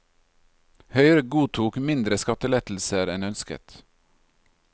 Høyre godtok mindre skattelettelser enn ønsket.